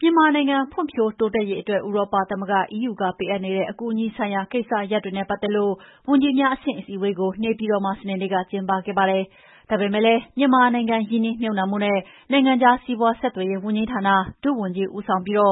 မြန်မာနိုင်ငံ ဖွံ့ဖြိုးတိုးတက်ရေးအတွက် ဥရောပသမဂ္ဂ EU ကပေးအပ်နေတဲ့အကူအညီဆိုင်ရာ ကိစ္စရပ်တွေနဲ့ပတ်သက်လို့ ဝန်ကြီးများအဆင့်အစည်းအဝေးကို နေပြည်တော်မှာ စနေနေ့ကကျင်းပခဲ့ပါတယ်။ ဒါပေမယ့်လည်း မြန်မာနိုင်ငံ ရင်းနှီးမြှပ်နှံမှုနဲ့ နိုင်ငံခြားစီးပါွးဆက်သွယ်ရေးဝန်ကြီးဌာန၊ ဒုဝန်ကြီးဦးဆောင်ပြီး ဧ